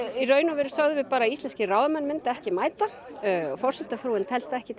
í rauninni sögðum við bara að Íslenskir ráðamenn myndu ekki mæta og forsetafrúin telst ekki til